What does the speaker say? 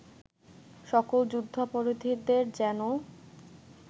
সকল যুদ্ধাপরাধীদের যেনো